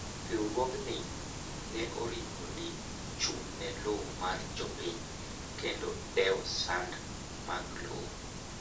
riwruog ni ne oripo ni chung' ne lowo mar jopiny kendo dewo sand mag lowo